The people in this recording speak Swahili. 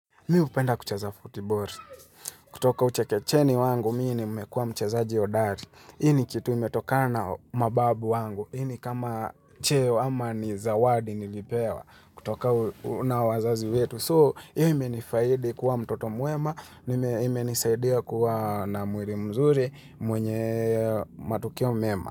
Mi upenda kucheza football. Kutoka uche kecheni wangu, mii nimekuwa mchezaji hodari. Ini kitu imetokana mababu wangu. Ini kama cheo ama ni zawadi nilipewa. Kutoka una wazazi wetu. So, hiyo imenifaidi kuwa mtoto mwema. Nime nisaidia kuwa na muiri mzuri mwenye matukio mema.